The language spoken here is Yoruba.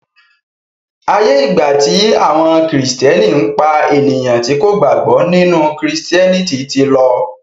aiyé igba ti àwọn Kristiani pá ènìyàn tí kò gbàgbó nínú Kristiẹniti tí ló.